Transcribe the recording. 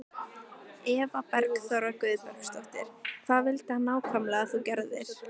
Eva Bergþóra Guðbergsdóttir: Hvað vildi hann nákvæmlega að þú gerðir?